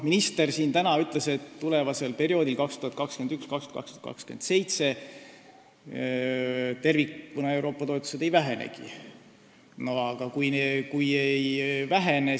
Minister täna siin ütles, et perioodil 2021–2027 Euroopa Liidu toetused tervikuna ei vähenegi.